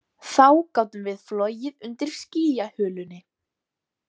Þá gátum við flogið undir skýjahulunni